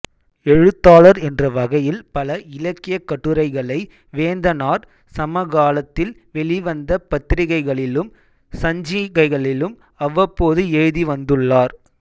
எழுத்தாளர் என்ற வகையில் பல இலக்கியக் கட்டுரைகளை வேந்தனார் சமகாலத்தில் வெளிவந்த பத்திரிகைகளிலும் சஞ்சிகைகளிலும் அவ்வப்போது எழுதி வந்துள்ளார்